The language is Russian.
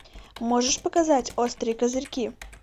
можешь показать острые козырьки